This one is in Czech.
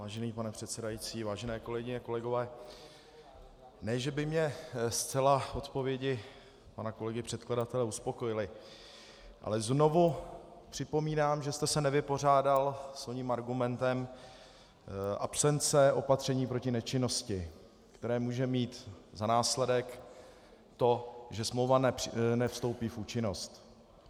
Vážený pane předsedající, vážené kolegyně, kolegové, ne že by mě zcela odpovědi pana kolegy předkladatele uspokojily, ale znovu připomínám, že jste se nevypořádal s oním argumentem absence opatření proti nečinnosti, které může mít za následek to, že smlouva nevstoupí v účinnost.